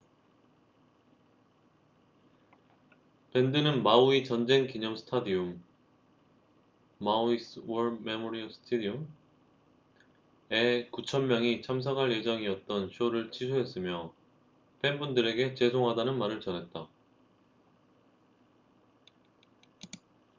밴드는 마우이 전쟁 기념 스타디움maui's war memorial stadium에 9천 명이 참석할 예정이었던 쇼를 취소했으며 팬분들에게 죄송하다는 말을 전했다